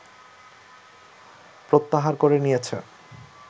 প্রত্যাহার করে নিয়েছে